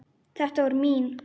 Þetta var mín.